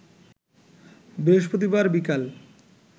বৃহস্পতিবার বিকাল